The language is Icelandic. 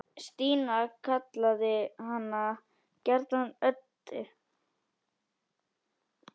Stína kallaði hana gjarnan Öddu.